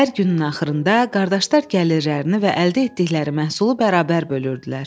Hər günün axırında qardaşlar gəlirlərini və əldə etdikləri məhsulu bərabər bölürdülər.